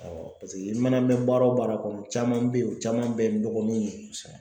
i mana mɛn baara o baara kɔnɔ caman bɛ ye o caman bɛ n dɔgɔninw ye, kosɛbɛ